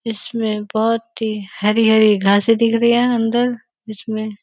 इसमें बहोत ही हरी-हरी घासें दिख रही हैं अंदर जिसमें --